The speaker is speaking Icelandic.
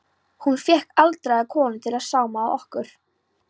Hún fékk aldraða konu til að sauma á okkur skóna.